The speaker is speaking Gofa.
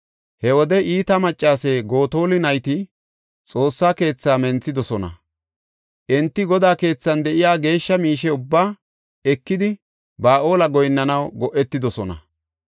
He wode iita maccase Gotola nayti Xoossa keethaa menthidosona. Enti Godaa keethan de7iya geeshsha miishe ubbaa ekidi Ba7aale goyinnanaw go7etidosona.